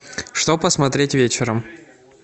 что посмотреть вечером